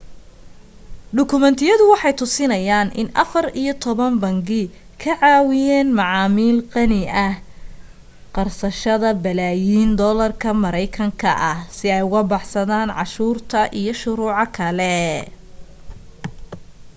dukumeentiyadu waxay tusinayaan in afar iyo toban bangi ka caawiyeen macaamiil qani ah qarsashada balaayin doolarka maraykanka ah si ay uga baxsadaan cashuurta iyo shuruuco kale